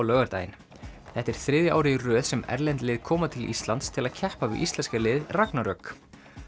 laugardaginn þetta er þriðja árið í röð sem erlend lið koma til Íslands til að keppa við íslenska liðið ragnarök